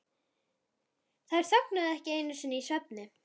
Þær þögnuðu ekki einu sinni í svefni.